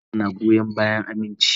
Alakar na goyon bayan aminci.